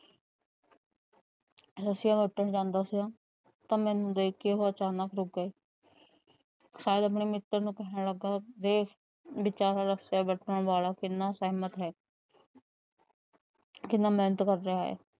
ਰੱਸਿਆਂ ਬੱਟਣ ਜਾਂਦਾ ਸੀ। ਤਾ ਉਹ ਮੈਨੂੰ ਦੇਖ ਕੇ ਅਚਾਨਕ ਰੁੱਕ ਗਏ। ਸਈਦ ਆਪਣੇ ਮਿੱਤਰ ਨੂੰ ਕਹਿਣ ਲੱਗਾ। ਵਿਚਾਰਾ ਰਸੀਆ ਬੱਟਣ ਵਾਲਾ ਕਿੰਨਾ ਸਹਿਮਤ ਹੈ। ਕਿੰਨਾ ਮਿਹਨਤ ਕਰ ਰਿਆ ਹੈ।